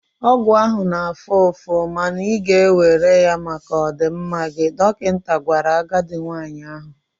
Ọgwụ ahụ ga-afụ ụfụ, ma ị ga-ewere ya maka ọdịmma gị, dọkịta gwara agadi nwanyị ahụ.